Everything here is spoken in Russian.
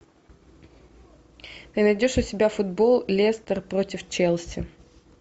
ты найдешь у себя футбол лестер против челси